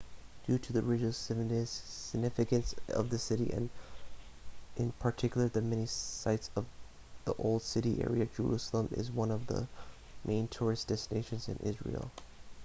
due to the religious significance of the city and in particular the many sites of the old city area jerusalem is one of the main tourist destinations in israel